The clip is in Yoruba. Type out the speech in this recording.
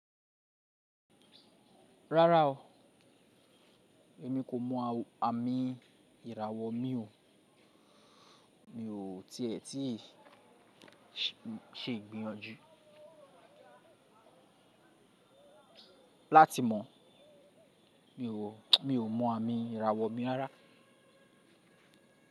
Rárá o, èmi kò mọ àmì ìràwọ̀ mi o. Mi ò tí ẹ ti ṣe ìgbìyànjú láti mọ̀. Mi ò mọ àmì ìràwọ̀ mi rárá.